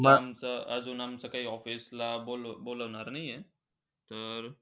मग, अजून आमचं काही office ला अजून बोलबोलावणार नाही आहे. तर,